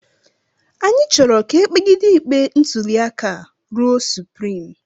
Anyị chọrọ ka e kpegide ikpe ntụliaka a ruo suprim